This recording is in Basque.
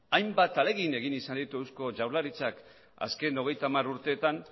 hainbat ahalegin egin izan ditu eusko jaurlaritzak azken hogeita hamar urteetan